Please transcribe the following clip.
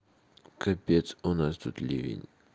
капец у нас тут ливень